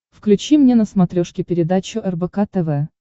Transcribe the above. включи мне на смотрешке передачу рбк тв